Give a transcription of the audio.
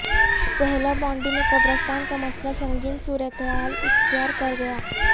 چہلہ بانڈی میں قبرستان کا مسئلہ سنگین صورتحال اختیار کرگیا